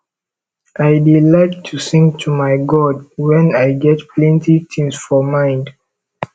i dey like to sing to my god wen i get plenty tins for mind